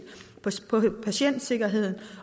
patientsikkerhed